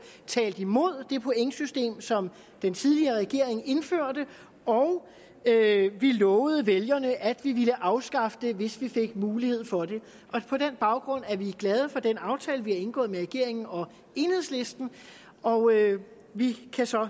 talt imod det pointsystem som den tidligere regering indførte og vi lovede vælgerne at vi ville afskaffe det hvis vi fik mulighed for det på den baggrund er vi glade for den aftale vi har indgået med regeringen og enhedslisten og vi kan så